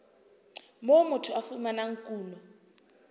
moo motho a fumanang kuno